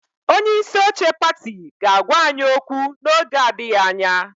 Onye isi oche pati ga-agwa anyị okwu n'oge adịghị anya.